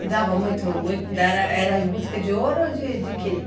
E dava muito muito, era em busca de ouro ou de quê?